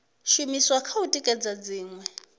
shumiswa kha u tikedza dziṅwe